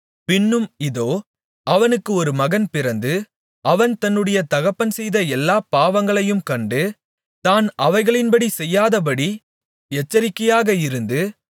பின்னும் இதோ அவனுக்கு ஒரு மகன் பிறந்து அவன் தன்னுடைய தகப்பன் செய்த எல்லாப் பாவங்களையும் கண்டு தான் அவைகளின்படி செய்யாதபடி எச்சரிக்கையாக இருந்து